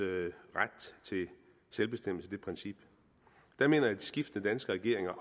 selvbestemmelsesret jeg mener at skiftende danske regeringer